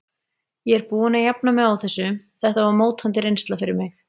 Ég er búinn að jafna mig á þessu, þetta var mótandi reynsla fyrir mig.